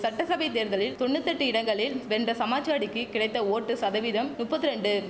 சட்டசபை தேர்தலில் தொன்னுத்தெட்டு இடங்களில் வென்ற சமாஜ்வாடிக்கி கிடைத்த ஓட்டு சதவீதம் நுப்பத்திரெண்டு